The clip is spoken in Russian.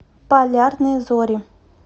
полярные зори